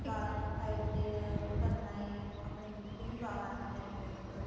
ਵਾਲਾਂ ਨੂੰ side ਤੇ ਕਰਨਾ ਏ ਆਪਣੇਂ ਨੀਚੇ ਨਹੀਂ ਵਾਲ ਆਨੇ ਚਾਹੀਦੇ ਮਤਲਬ ਕੇ